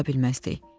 Qala bilməzdik.